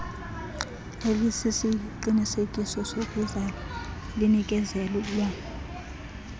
elisisiqinisekiso sokuzalwa linikezelwa